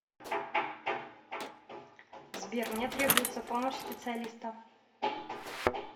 сбер мне требуется помощь специалиста